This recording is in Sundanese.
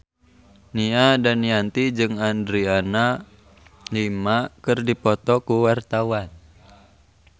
Nia Daniati jeung Adriana Lima keur dipoto ku wartawan